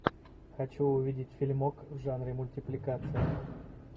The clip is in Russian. хочу увидеть фильмок в жанре мультипликация